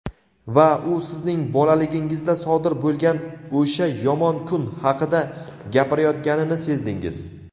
Va u sizning bolaligingizda sodir bo‘lgan "o‘sha yomon kun" haqida gapirayotganini sezdingiz.